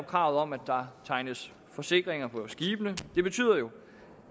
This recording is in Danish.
kravet om at der tegnes forsikringer på skibene det betyder jo